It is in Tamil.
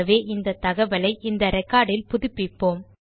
ஆகவே இந்த தகவலை இந்த ரெக்கார்ட் இல் புதுப்பிப்போம்